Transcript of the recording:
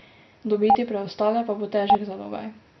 Dobiti preostale pa bo težek zalogaj.